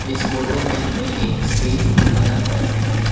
इस फोटो में हमें एक स्टेज दिखाया गया है।